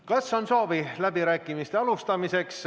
Kas on soovi läbirääkimiste alustamiseks?